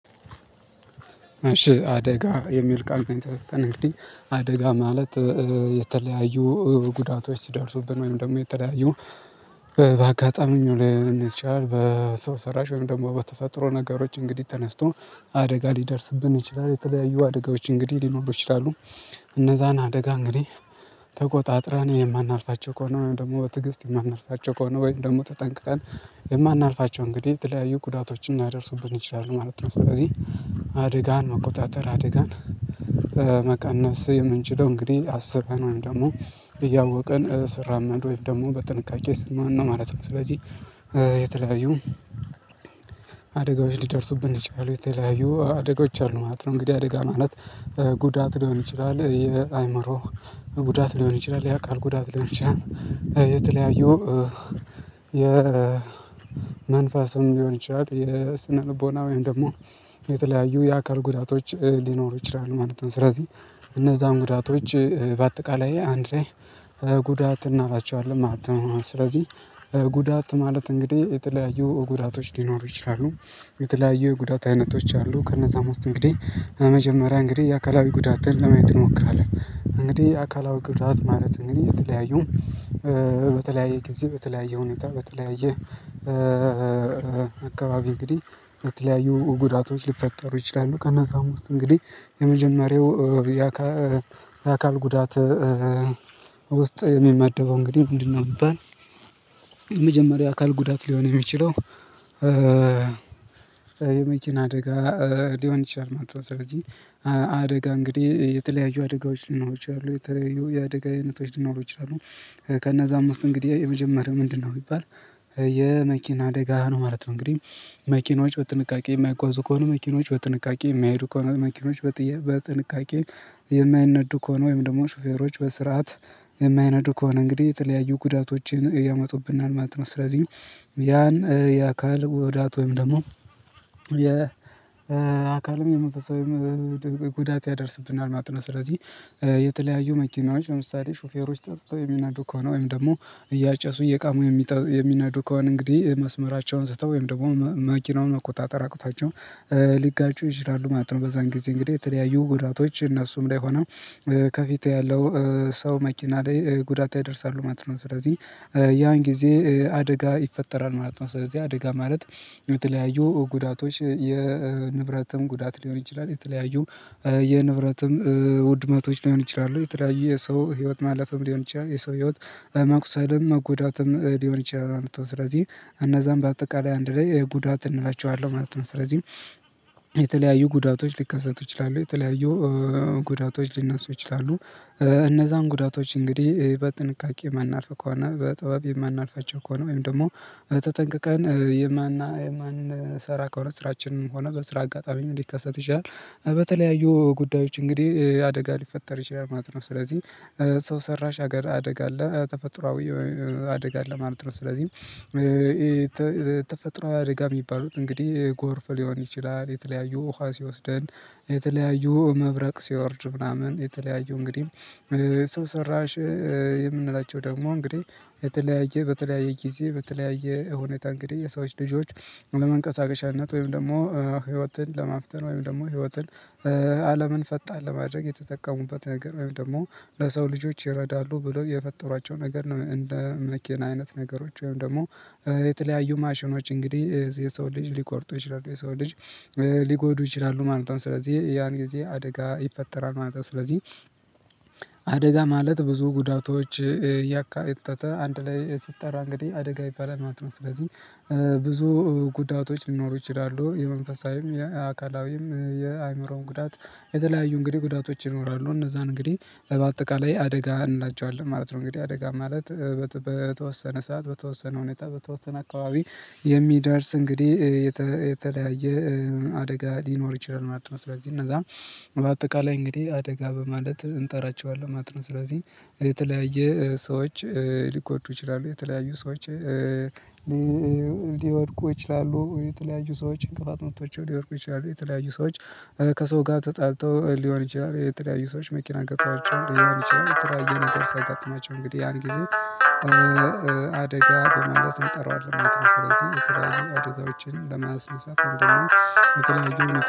አደጋ የሚል ቃል ስትነግር አደጋ ማለት የተለያዩ ጉዳቶች ሲደርሱብን ወይም ደግሞ የተለያዩ በአጋጣሚው ላይ ሊሆን ይችላል በሰው ሰራሽ ወይም ደግሞ በተፈጥሮ ነገሮች እንግዲህ ተነስቶ አደጋ ሊደርስብን ይችላል የተለያዩ አደጋዎች እንግዲህ ሊኖሩ ይችላሉ እነዛን አደጋ እንግዲህ ተቆጣጥረን የማናልፋቸው ከሆነ ወይም ደግሞ በትግስት የማናልፋቸው ከሆነ ወይም ደግሞ ተጠንቅቀን የማናልፋቸው እንግዲህ የተለያዩ ጉዳቶችን ሊያደርሱብን ይችላሉ ማለት ነው። ስለዚህ አደጋን መቆጣጠር አደጋን መቀነስ የምንችለው እንግዲህ አስበን ደግሞ እያወቅን ስራመድ ወይም ደግሞ በጥንቃቄ ማነው ማለት ነው። ስለዚህ የተለያዩ አደጋዎች ሊደርሱብን ይችላሉ የተለያዩ አደጋዎች አሉ ማለት ነው። እንግዲህ አደጋ ማለት ጉዳት ሊሆን ይችላል የአእምሮ ጉዳት ሊሆን ይችላል የአካል ጉዳት ሊሆን ይችላል። የተለያዩ የ የመንፈስም ሊሆን ይችላል የስነ ልቦና ወይም ደግሞ የተለያዩ የአካል ጉዳቶች ሊኖሩ ይችላሉ ማለት ነው። ስለዚህ እነዛን ጉዳቶች በአጠቃላይ አንድ ላይ ጉዳት እንላቸዋለን ማለት ነው። ስለዚህ ጉዳት ማለት እንግዲህ የተለያዩ ጉዳቶች ሊኖሩ ይችላሉ። የተለያዩ ጉዳት አይነቶች አሉ ከነዛ ሞስት እንግዲህ መጀመሪያ እንግዲህ የአካላዊ ጉዳትን ለማየት እንሞክራለን። እንግዲህ አካላዊ ግዳት ማለት እንግዲህ የተለያዩ በተለያየ ጊዜ በተለያየ ሁኔታ በተለያዩ አካባቢ እንግዲህ በተለያዩ ጉዳቶች ሊፈጠሩ ይችላሉ። ከነዛ አምስት እንግዲህ የመጀመሪያው የአካል ጉዳት ውስጥ የሚመደበው እንግዲህ ምንድ ነው? የሚባል የመጀመሪያ አካል ጉዳት ሊሆን የሚችለው የመኪና አደጋ ሊሆን ይችላል ማለት ነው። ስለዚህ አደጋ እንግዲህ የተለያዩ አደጋዎች ሊኖሩ ይችላሉ የተለያዩ የአደጋ አይነቶች ሊኖሩ ይችላሉ። ከነዛ አምስት እንግዲህ የመጀመሪያው ምንድ ነው? ቢባል የመኪና አደጋ ነው ማለት ነው። እንግዲህ መኪኖች በጥንቃቄ የማይጓዙ ከሆኑ መኪኖች በጥንቃቄ የማይሄዱ ከሆነ መኪኖች በጥንቃቄ የማይነዱ ከሆነ ወይም ደግሞ ሹፌሮች በስርዓት የማይነዱ ከሆነ እንግዲህ የተለያዩ ጉዳቶችን እያመጡብናል ማለት ነው። ስለዚህ ያን የአካል ጉዳት ወይም ደግሞ የ አካልም የመንፈሳዊም ጉዳት ያደርስብናል። ማጥናት ስለዚህ የተለያዩ መኪናዎች ለምሳሌ ሹፌሮች ጠጥተው የሚናዱ ከሆነ ወይም ደግሞ እያጨሱ እየቃሙ የሚናዱ ከሆነ እንግዲህ መስመራቸውን ስተው ወይም ደግሞ መኪናውን መቆጣጠር አቅቷቸው ሊጋጩ ይችላሉ ማለት ነው። በዛን ጊዜ እንግዲህ የተለያዩ ጉዳቶች እነሱም ላይ ሆነው ከፊቴ ያለው ሰው መኪና ላይ ጉዳት ያደርሳሉ ማለት ነው። ስለዚህ ያን ጊዜ አደጋ ይፈጠራል ማለት ነው። ስለዚህ አደጋ ማለት የተለያዩ ጉዳቶች የንብረትም ጉዳት ሊሆን ይችላል የተለያዩ የንብረትም ውድመቶች ሊሆን ይችላሉ የተለያዩ የሰው ህይወት ማለፍም ሊሆን ይችላል የሰው ህይወት ማቁሰልም መጎዳትም ሊሆን ይችላል ማለት ነው። ስለዚህ እነዛም በአጠቃላይ አንድ ላይ ጉዳት እንላቸዋለን ማለት ነው። ስለዚህም የተለያዩ ጉዳቶች ሊከሰቱ ይችላሉ የተለያዩ ጉዳቶች ሊነሱ ይችላሉ። እነዛን ጉዳቶች እንግዲህ በጥንቃቄ የማናልፍ ከሆነ በጠባብ የማናልፋቸው ከሆነ ወይም ደግሞ ተጠንቅቀን የማን የማን ስራ ከሆነ ስራችንን ሆነ በስራ አጋጣሚ ሊከሰት ይችላል በተለያዩ ጉዳዮች እንግዲህ አደጋ ሊፈጠር ይችላል ማለት ነው። ስለዚህ ሰው ሰራሽ ሀገር አደጋ አለ ተፈጥሮአዊ አደጋ አለ ማለት ነው። ስለዚህ ተፈጥሮ አደጋ የሚባሉት እንግዲህ ጎርፍ ሊሆን ይችላል የተለያዩ ውሃ ሲወስደን። የተለያዩ መብረቅ ሲወርድ ምናምን የተለያዩ እንግዲህ ሰው ሰራሽ የምንላቸው ደግሞ እንግዲህ የተለያየ በተለያየ ጊዜ በተለያየ ሁኔታ እንግዲህ የሰዎች ልጆች ለመንቀሳቀሻነት ወይም ደግሞ ህይወትን ለማፍተን ወይም ደግሞ ህይወትን አለምን ፈጣን ለማድረግ የተጠቀሙበት ነገር ወይም ደግሞ ለሰው ልጆች ይረዳሉ ብለው የፈጠሯቸው ነገር ነው። እንደ መኪና አይነት ነገሮች ወይም ደግሞ የተለያዩ ማሽኖች እንግዲህ የሰው ልጅ ሊቆርጡ ይችላሉ የሰው ልጅ ሊጎዱ ይችላሉ ማለት ነው። ስለዚህ ያን ጊዜ አደጋ ይፈጠራል ማለት ነው። ስለዚህ አደጋ ማለት ብዙ ጉዳቶች ያካተተ አንድ ላይ ሲጠራ እንግዲህ አደጋ ይባላል ማለት ነው። ስለዚህ ብዙ ጉዳቶች ሊኖሩ ይችላሉ የመንፈሳዊም የአካላዊም የአእምሮውም ጉዳት የተለያዩ እንግዲህ ጉዳቶች ይኖራሉ እነዛን እንግዲህ በአጠቃላይ አደጋ እንላቸዋለን ማለት ነው። እንግዲህ አደጋ ማለት በተወሰነ ሰዓት በተወሰነ ሁኔታ በተወሰነ አካባቢ የሚደርስ እንግዲህ የተለያየ አደጋ ሊኖር ይችላል ማለት ነው። ስለዚህ እነዛ በአጠቃላይ እንግዲህ አደጋ በማለት እንጠራቸዋለን ማለት ነው። ስለዚህ የተለያየ ሰዎች ሊጎዱ ይችላሉ የተለያዩ ሰዎች ሊወድቁ ይችላሉ የተለያዩ ሰዎች እንቅፋት ምቶቻቸውን ሊወርቁ ይችላሉ የተለያዩ ሰዎች ከሰው ጋር ተጣልተው ሊሆን ይችላል የተለያዩ ሰዎች መኪና አጋጥሟቸው ሊሆን ይችላል ትራይዬ ነገር ሲያጋጥማቸው እንግዲህ ያን ጊዜ። አደጋ በማንደርስበት መጥራት ነው ስለዚህ የትራን ወደዛው ውጪን ለማስነሳት አንድ መሆን የትራን